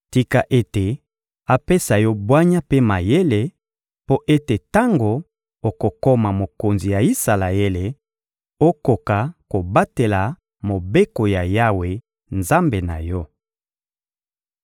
Tika ete apesa yo bwanya mpe mayele, mpo ete tango okokoma mokonzi ya Isalaele, okoka kobatela mobeko ya Yawe Nzambe na yo!